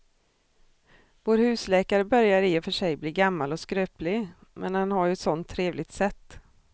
Vår husläkare börjar i och för sig bli gammal och skröplig, men han har ju ett sådant trevligt sätt!